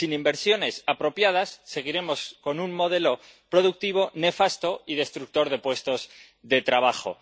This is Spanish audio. Sin inversiones apropiadas, seguiremos con un modelo productivo nefasto y destructor de puestos de trabajo.